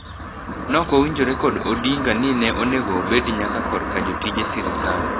Nokowinjore kod Odinga ni ne onego obed nyaka korka jotije sirkal.